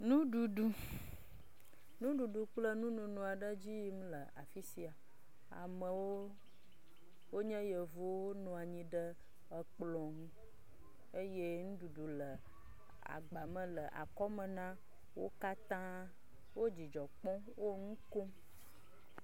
Nuɖuɖu, nuɖuɖu kple nununu aɖe le edzi yim le afi sia, amewo wonye yevuwo nɔ anyi ekplɔ ŋu, eye nuɖuɖu le agba me le akɔme na wo katãa, wo dzidzɔ kpɔm, wo nu kom.